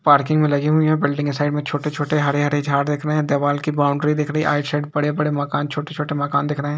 Parking मे लगी हुई है | बिल्डिंग के साइड मे छोटे छोटे हरे हरे झाड दिख रहे हैं | दीवाल की बोउन्ड्री दिख रही है | राइट साइड बड़े बड़े मकान छोटे छोटे मकान दिख रहे हैं ।